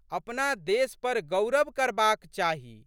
अपना देश पर गउरव करबाक चाही।